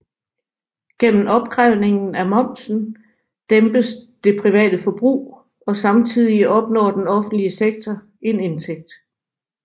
Gennem opkrævningen af momsen dæmpes det private forbrug og samtidig opnår den offentlige sektor en indtægt